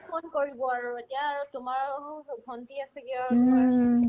ক'ত ফোন কৰিব আৰু এতিয়া আৰু তোমাৰ আৰু ভন্টি আছে কি আৰু তোমাৰ ওচৰত